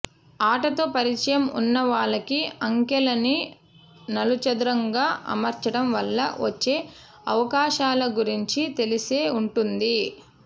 ఆటతో పరిచయం ఉన్నవాళ్లకి అంకెలని నలుచదరంగా అమర్చటం వల్ల వచ్చే అవకాశాల గురించి తెలిసే ఉంటుంది